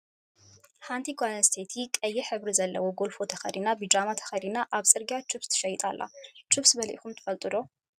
ሓንቲ ጓል ኣንስትይቲ ቀይሕ ሕብሪ ዘለዎ ጎልፎ ተከዲና ብጃማ ተከዲና ኣብ ፅርግያ ችብስስ ተሸይጥኣላ ። ችብስ በሊዕኩም ትፈልጡ ዶ ሕ?